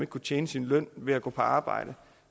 kunne tjene sin løn ved at gå på arbejde